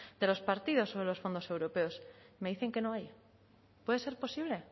de los partidos sobre los fondos europeos me dicen que no hay puede ser posible